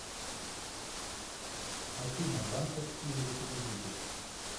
афина банковские реквизиты